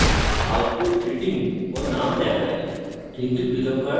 আমরা দেখি যে output greeting ও name দেখায়